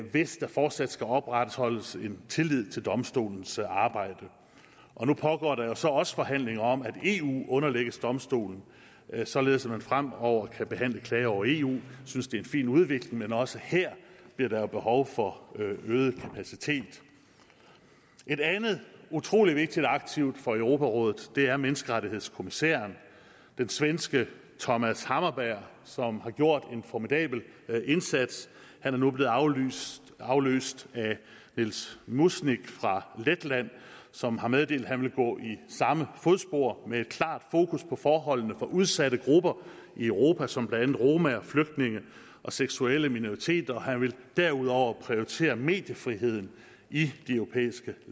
hvis der fortsat skal opretholdes en tillid til domstolens arbejde nu pågår der så jo også forhandlinger om at eu underlægges domstolen således at man fremover kan behandle klager over eu jeg synes det er en fin udvikling men også her bliver der behov for øget kapacitet et andet utrolig vigtigt aktiv for europarådet er menneskerettighedskommissæren den svenske thomas hammarberg som har gjort en formidabel indsats hen er nu blevet afløst afløst af nils muiznieks fra letland som har meddelt at han vil gå i samme fodspor med et klart fokus på forholdene for udsatte grupper i europa som blandt andet romaer flygtninge og seksuelle minoriteter han vil derudover prioritere mediefriheden i de europæiske